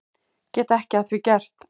Get ekki að því gert.